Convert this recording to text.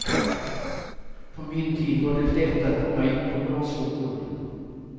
På min tid var det lätt att komma in på bra skolor.